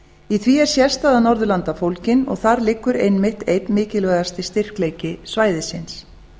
í því er sérstaða norðurlanda fólgin og þar liggur einmitt einn mikilvægasti styrkleiki svæðisins